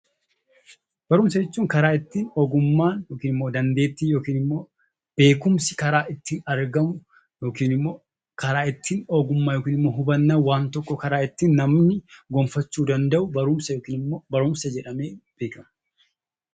Barumsa jechuun karaa ittiin ogummaan yookiin immoo dandeettiin yookiin immoo beekumsi karaa ittiin argamu yookiin immoo karaa ittiin ogummaa yookiin hubannaan waan tokkoo karaa ittiin namni gonfachuu danda'u barumsa jedhamee beekama.